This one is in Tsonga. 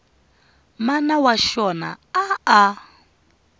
mana wa xona a a